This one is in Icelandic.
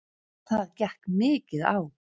Það gekk mikið á.